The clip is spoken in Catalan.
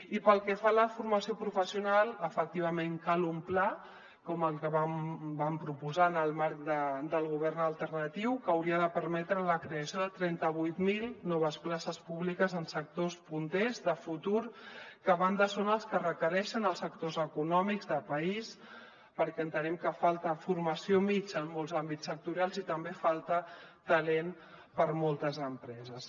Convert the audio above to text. i pel que fa a la formació professional efectivament cal un pla com el que vam proposar en el marc del govern alternatiu que hauria de permetre la creació de trenta vuit mil noves places públiques en sectors punters de futur que a banda són els que requereixen els sectors econòmics de país perquè entenem que falta formació mitjana en molts àmbits sectorials i també falta talent per a moltes empreses